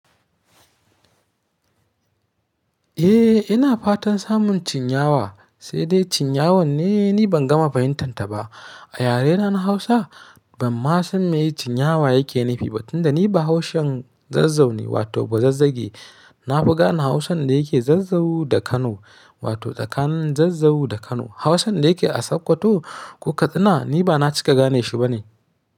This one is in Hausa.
Eh ina fatan samun chinyawa, sai dai chinyawan ne, ni ban gama fahimtar ta ba. Ayarena na Hausa ban ma san me chinyawa yake nufi ba tunda ni ba Haushen Zazzau ne wato ba Zazzage. Na fi gane Hausan da yake Zazzau da Kano wato tsakanin Zazzau da Kano. Hausan da yake a Sokoto ko Katsina ni ba na cika gane shi bane.